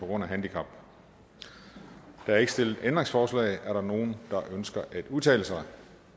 der er ikke stillet ændringsforslag er der nogen der ønsker at udtale sig